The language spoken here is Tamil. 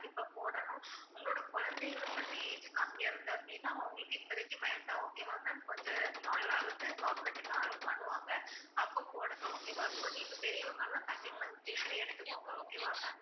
கண்டிப்பா போடணும். உங்களோட குழந்தைகளுக்கு வந்து age கம்மியா இருந்தா அப்படின்னா, அவங்களுக்கு இப்போதைக்கு வேண்டாம் okay வா ma'am கொஞ்ச நாளாவது government ல allow பண்ணுவாங்க அப்ப போடுங்க okay வா. இப்ப நீங்க பெரியவங்க எல்லாம் கண்டிப்பா injection எடுத்துக்கோங்க. okay வா ma'am